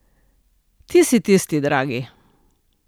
Ti si tisti, dragi.